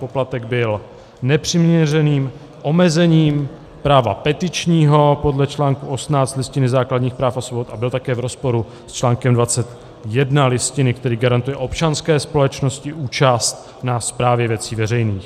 Poplatek byl nepřiměřeným omezením práva petičního podle článku 18 Listiny základních práv a svobod a byl také v rozporu s článkem 21 Listiny, který garantuje občanské společnosti účast na správě věcí veřejných.